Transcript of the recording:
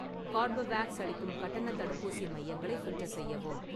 Corbevax அளிக்கும் கட்டணத் தடுப்பூசி மையங்களை ஃபில்டர் செய்யவும்